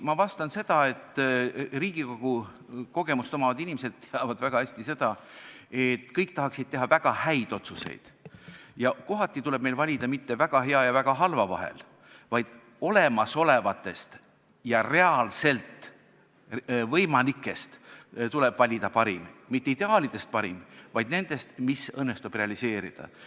Ma vastan sedasi, et Riigikogu kogemust omavad inimesed teavad väga hästi, et kõik tahaksid teha väga häid otsuseid, kuid kohati ei tule meil valida mitte väga hea ja väga halva vahel, vaid tuleb valida olemasolevatest ja reaalselt võimalikest parim – mitte ideaalidest parim, vaid nendest, mis õnnestub realiseerida.